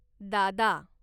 दादा